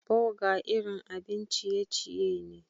Burger irin abin ciye-ciye ne.